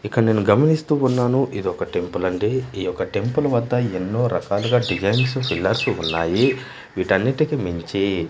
ఇక్కడ నేను గమనిస్తూ ఉన్నాను ఇదొక టెంపుల్ అండి ఈ ఒక టెంపుల్ వద్ద ఎన్నో రకాలుగా డిజైన్స్ పిల్లర్స్ ఉన్నాయి వీటన్నిటికీ మించి.